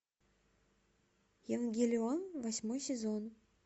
евангелион восьмой сезон